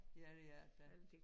Ja det er det da